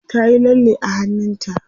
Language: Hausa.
ta Yi lalle a hannunta